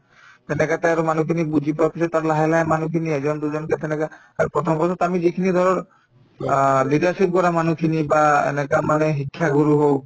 তেনেকে আৰু মানুহখিনিক বুজি পোৱাৰ পিছত আৰু লাহে লাহে মানুহখিনি এজন দুজনকে তেনেকে আৰু প্ৰথম অৱস্থাততো আমি যিখিনি ধৰক অ leadership কৰা মানুহখিনি বা এনেকা মানে শিক্ষাগুৰু হওক